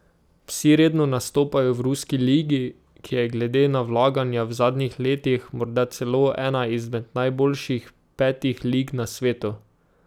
Vsi redno nastopajo v ruski ligi, ki je glede na vlaganja v zadnjih letih morda celo ena izmed najboljših petih lig na svetu.